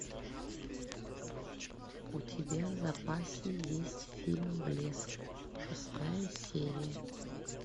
у тебя в запасе есть фильм блеск шестая серия